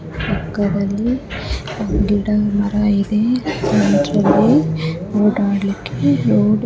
ಪಕ್ಕದಲ್ಲಿ ಗಿಡ ಮರ ಇದೆ ಸೆಂಟ್ರಲ್ಲಿ ಓಡಾಡ್ಲಿಕ್ಕೆ ರೋಡ್ --